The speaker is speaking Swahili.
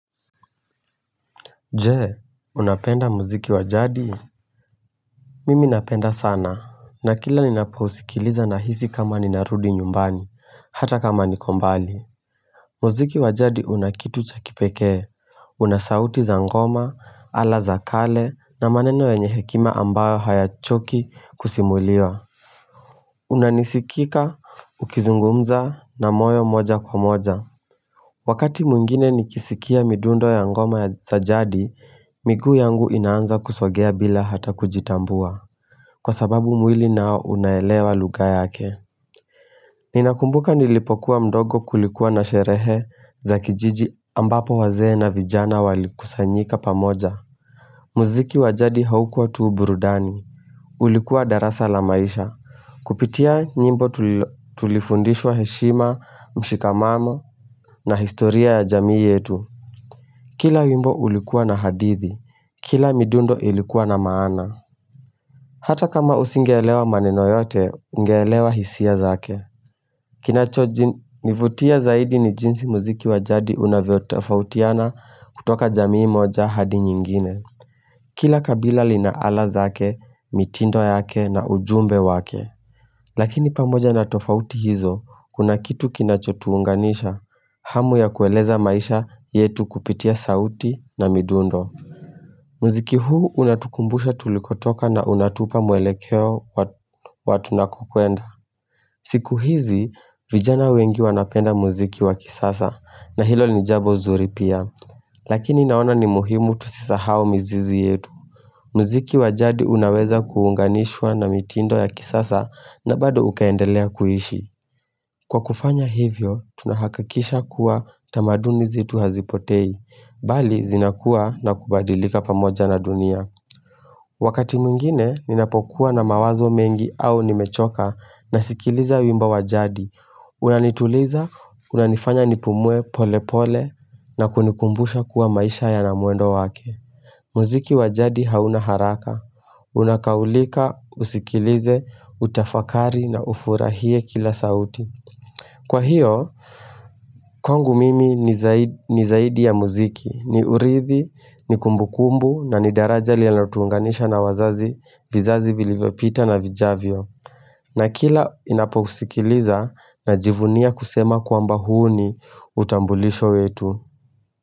Jee unapenda muziki wajadi Mimi napenda sana na kila ninapousikiliza na hisi kama ninarudi nyumbani hata kama niko mbali muziki wajadi unakitu cha kipekee unasauti za ngoma ala za kale na maneno yenye hekima ambayo hayachoki kusimuliwa Unanisikika ukizungumza na moyo moja kwa moja Wakati mwingine nikisikia mindundo ya ngoma ya za jadi, miguu yangu inaanza kusogea bila hata kujitambua, kwa sababu mwili nao unaelewa lugha yake. Ninakumbuka nilipokuwa mdogo kulikuwa na sherehe za kijiji ambapo wazee na vijana walikusanyika pamoja. Muziki wa jadi haukua tu burudani, ulikuwa darasa la maisha, kupitia nyimbo tulifundishwa heshima, mshikamamo, na historia ya jamii yetu Kila wimbo ulikuwa na hadithi, kila midundo ilikuwa na maana Hata kama usingeelewa maneno yote, ungelewa hisia zake Kinachonivutia zaidi ni jinsi muziki wajadi unvyo tofautiana kutoka jamii moja hadi nyingine Kila kabila lina ala zake, mitindo yake na ujumbe wake. Lakini pamoja natofauti hizo, kuna kitu kinachotuunganisha, hamu ya kueleza maisha yetu kupitia sauti na midundo. Muziki huu unatukumbusha tulikotoka na unatupa mwelekeo wa tunakokuenda. Siku hizi, vijana wengi wanapenda muziki wakisasa na hilo ni jambo zuri pia. Lakini naona ni muhimu tusisahau mizizi yetu. Mziki wajadi unaweza kuunganishwa na mitindo ya kisasa na bado ukeendelea kuishi Kwa kufanya hivyo, tunahakisha kuwa tamaduni zetu hazipotei, bali zinakua na kubadilika pamoja na dunia Wakati mwingine, ninapokuwa na mawazo mengi au nimechoka na sikiliza wimbo wa jadi Unanituliza, unanifanya nipumue pole pole na kunikumbusha kuwa maisha yana mwendo wake mziki wa jadi hauna haraka Unakaulika, usikilize, utafakari na ufurahie kila sauti Kwa hiyo, kwangu mimi ni zaidi ya muziki ni urithi, ni kumbukumbu na ni daraja linalotuunganisha na wazazi vizazi vilivyopita na vijavyo na kila ninapousikiliza na jivunia kusema kwamba huo ni utambulisho wetu.